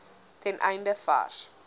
ten einde vars